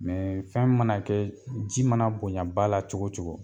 fɛn mana kɛ ji mana bonyaba la cogo o cogo